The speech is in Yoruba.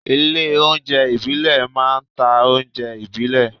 Ilé óúnjẹ ìbílẹ̀ máa ń ta oúnjẹ ìbílẹ̀